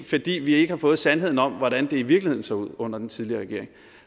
fordi vi ikke har fået sandheden om hvordan det i virkeligheden så ud under den tidligere regering